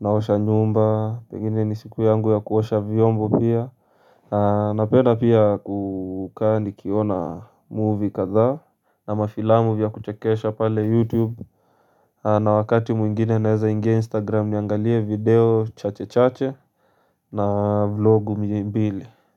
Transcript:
Naosha nyumba pengine ni siku yangu ya kuosha vyombo pia. Na penda pia kukaa nikiona movie kadhaa. Na mafilamu vya kuchekesha pale youtube. Na wakati mwingine naeza ingia instagram niangalie video chache chache. Na vlogu mbilimbili.